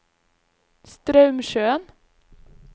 Straumsjøen